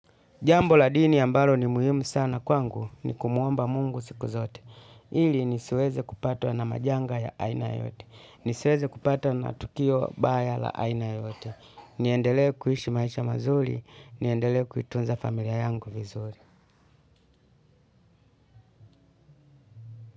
Jambo la dini ambalo ni muhimu sana kwangu ni kumuomba mungu siku zote. Ili nisiweze kupatwa na majanga ya aina yote. Nisweze kupata na tukio baya la aina yoyote. Niendelee kuhishi maisha mazuri, niendelee kuitunza familia yangu vizuri.